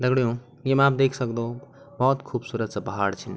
दगडियों येमा आप देख सक्दो भोत खुबसूरत सा पहाड़ छिन ।